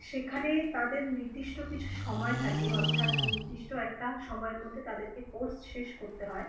সেখানে তাদের নির্দিষ্ট কিছু সময় থাকে অর্থাৎ নির্দিষ্ট একটা সময়ের মধ্যে তাদের কোর্স শেষ করতে হয়।